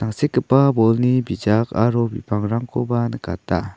tangsekgipa bolni bijak aro bipangrangkoba nikata.